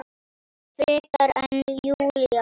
Frekar en Júlía.